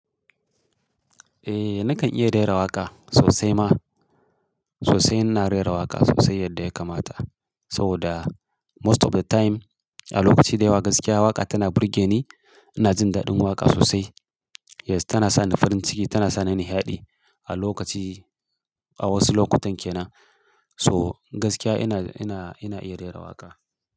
Eh, nakan iya rera waƙa sosai ma. Sosai ina rera waƙa sosai yadda ya kamata. Saboda most of the time a lokaci dayawa gaskiya waƙa tana burge ni. Ina jin daɗin waƙa sosai. Yes, tana sani farin ciki, tana sani nishaɗi a lokaci, a wasu lokutan kenan. So gaskiya ina, ina, ina iya rera waƙa.